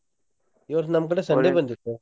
ಈ ವರ್ಷ್ ನಮ್ಕಡೆ Sunday ಬಂದಿತ್ತು.